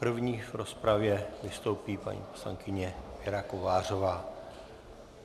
První v rozpravě vystoupí paní poslankyně Věra Kovářová.